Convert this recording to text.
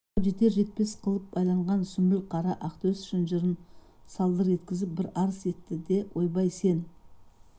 қақпаға жетер-жетпес қылып байланған сүмбіл қара ақтөс шынжырын салдыр еткізіп бір арс етті де ойбай сен